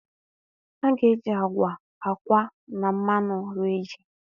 a ga-eji agwa, akwa na mmanụ rie ji.